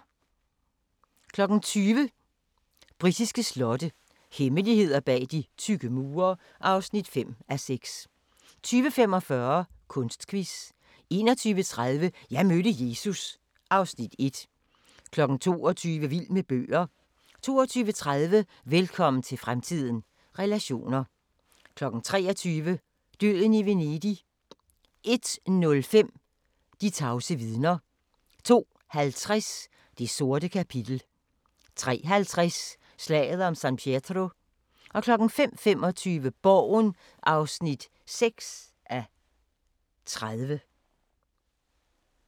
20:00: Britiske slotte – hemmeligheder bag de tykke mure (5:6) 20:45: Kunstquiz 21:30: Jeg mødte Jesus (Afs. 1) 22:00: Vild med bøger 22:30: Velkommen til fremtiden – relationer 23:00: Døden i Venedig 01:05: De tavse vidner 02:50: Det sorte kapitel 03:50: Slaget om San Pietro 05:25: Borgen (6:30)